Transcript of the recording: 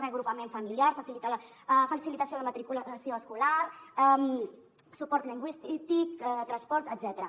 reagrupament familiar facilitació de la matriculació escolar suport lingüístic transport etcètera